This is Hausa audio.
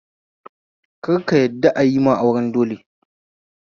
Kar ka yadda ayima auren dole